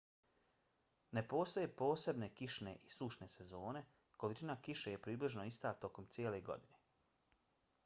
ne postoje posebne kišne i sušne sezone: količina kiše je približno ista tokom cijele godine